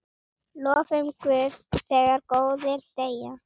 Lofum Guð þegar góðir deyja.